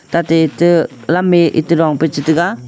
tate te lemme ete dongpe chetega.